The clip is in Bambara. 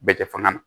Bɛɛ kɛ fanga na